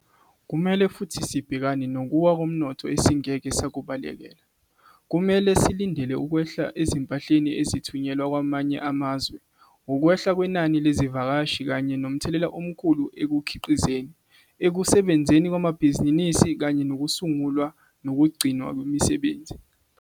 Kumele futhi sibhekane nokuwa komnotho esingeke sakubalekela. Kumele silindele ukwehla ezimpahleni ezithunyelwa kwamanye amazwe, ukwehla kwenani lezivakashi kanye nomthelela omkhulu ekukhiqizeni, ekusebenzeni kwamabhizinisi kanye nokusungulwa nokugcinwa kwemisebenzi.